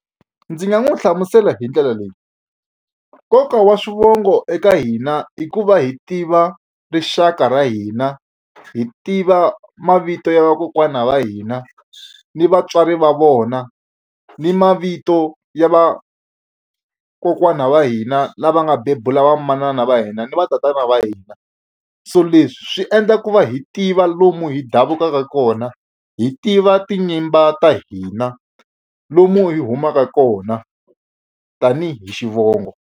Ndzi nga n'wi hlamusela hi ndlela leyi nkoka wa swivongo eka hina i ku va hi tiva rixaka ra hina hi tiva mavito ya vakokwana va hina ni vatswari va vona ni mavito ya va kokwana va hina lava nga bebula va manana va hina ni va tatana va hina so leswi swi endla ku va hi tiva lomu hi davukaka kona hi tiva tinyimba ta hina lomu hi humaka kona tanihi xivongo.